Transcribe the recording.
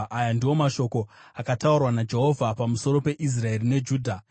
Aya ndiwo mashoko akataurwa naJehovha pamusoro peIsraeri neJudha: